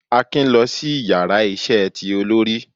Akin lọ si ìyára iṣẹ tí olori